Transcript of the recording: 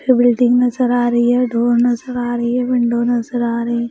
ये बिल्डिंग नजर आ रही है डोर नजर आ रही है विंडो नजर आ रही है।